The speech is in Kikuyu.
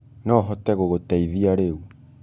Nohote gũgũteĩthĩa rĩũ.